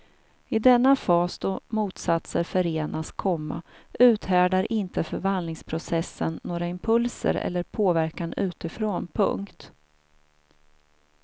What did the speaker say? I denna fas då motsatser förenas, komma uthärdar inte förvandlingsprocessen några impulser eller påverkan utifrån. punkt